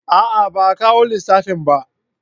A'a ba a kawo lissafin ba